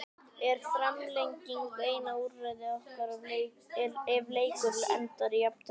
Er framlenging eina úrræði okkar ef leikur endar í jafntefli?